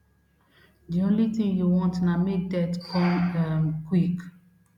di only tin you want na make death come um quick